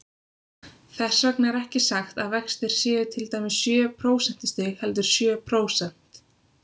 Þess vegna er ekki sagt að vextir séu til dæmis sjö prósentustig, heldur sjö prósent.